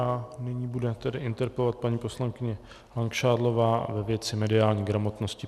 A nyní bude tedy interpelovat paní poslankyně Langšádlová ve věci mediální gramotnosti.